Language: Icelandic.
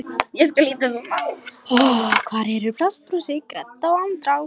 Hvar eru plastbrúsi gredda og andrá